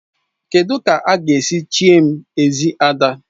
Kedụ ka a ga-esi chie m Ezi Ada?